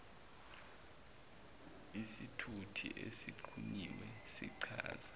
isithuthi esixhunyiwe sichaza